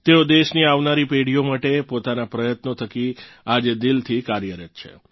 તેઓ દેશની આવનારી પેઢીઓ માટે પોતાના પ્રયત્નો થકી આજે દિલથી કાર્યરત છે